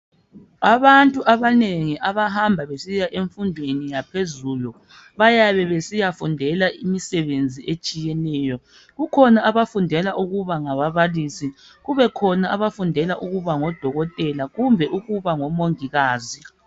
Abantu abanengi abahamba besiya emfundweni yaphezulu bayabe besiyafundela imisebenzi etshiyeneyo. Kukhona abafundela ukuba ngababalisi kubekhona abafundela ukuba ngodokotela kumbe ukuba ngomongikazi.